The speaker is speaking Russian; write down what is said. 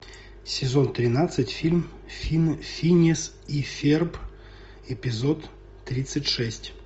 сезон тринадцать фильм финес и ферб эпизод тридцать шесть